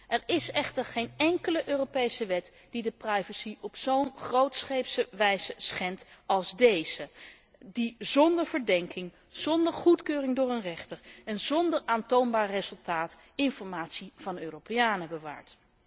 Er is echter geen enkele Europese wet die de privacy op zo'n grootscheepse wijze schendt als deze wet, die zonder verdenking, zonder goedkeuring door een rechter en zonder aantoonbaar resultaat informatie van Europeanen bewaart.